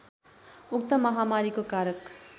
उक्त महामारीको कारक